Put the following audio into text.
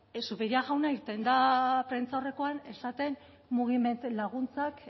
zupiria jauna irten da prentsaurrekoan esaten mugiment laguntzak